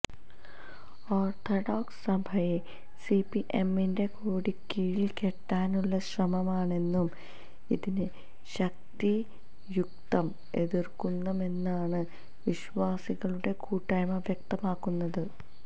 orthodox സഭയെ സിപിഎമ്മിന്റെ കൊടിക്കീഴില് കെട്ടാനുള്ള ശ്രമമാണെന്നും ഇതിനെ ശക്തിയുക്തം എതിര്ക്കുമെന്നുമാണ് വിശ്വാസികളുടെ കൂട്ടായ്മ വ്യക്തമാക്കുന്നത്